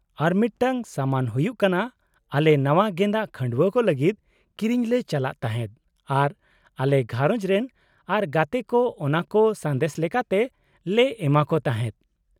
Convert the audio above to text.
-ᱟᱨ ᱢᱤᱫᱴᱟᱝ ᱥᱟᱢᱟᱱ ᱦᱩᱭᱩᱜ ᱠᱟᱱᱟ ᱟᱞᱮ ᱱᱟᱶᱟ ᱜᱮᱸᱫᱟᱜ ᱠᱷᱟᱺᱰᱣᱟᱹ ᱠᱚ ᱞᱟᱹᱜᱤᱫ ᱠᱤᱨᱤᱧ ᱞᱮ ᱪᱟᱞᱟᱜ ᱛᱟᱦᱮᱸᱫ ᱟᱨ ᱟᱞᱮ ᱜᱷᱟᱨᱚᱡᱽ ᱨᱮᱱ ᱟᱨ ᱜᱟᱛᱮ ᱠᱚ ᱚᱱᱟ ᱠᱚ ᱥᱟᱸᱫᱮᱥ ᱞᱮᱠᱟᱛᱮ ᱞᱮ ᱮᱢᱟ ᱠᱚ ᱛᱟᱦᱮᱸᱫ ᱾